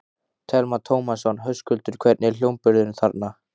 Telma Tómasson: Höskuldur, hvernig er hljómburðurinn þarna?